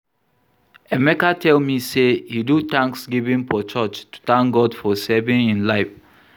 Emeka tell me say he do thanksgiving for church to thank God for saving im life